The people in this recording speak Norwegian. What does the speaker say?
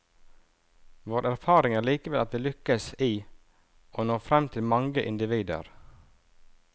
Vår erfaring er likevel at vi lykkes i å nå frem til mange individer.